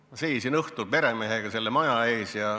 Ma seisin õhtul peremehega selle maja ees.